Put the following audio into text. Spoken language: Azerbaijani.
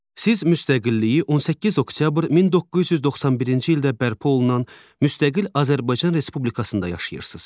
Siz müstəqilliyi 18 oktyabr 1991-ci ildə bərpa olunan müstəqil Azərbaycan Respublikasında yaşayırsınız.